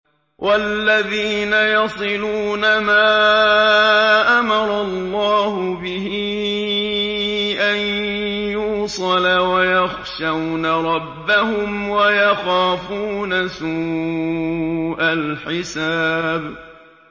وَالَّذِينَ يَصِلُونَ مَا أَمَرَ اللَّهُ بِهِ أَن يُوصَلَ وَيَخْشَوْنَ رَبَّهُمْ وَيَخَافُونَ سُوءَ الْحِسَابِ